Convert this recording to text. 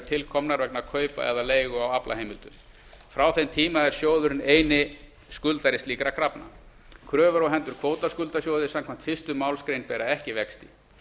til komnar vegna kaupa eða leigu á aflaheimildum frá þeim tíma er sjóðurinn eini skuldari slíkra krafna kröfur á hendur kvótaskuldasjóði samkvæmt fyrstu málsgrein bera ekki vexti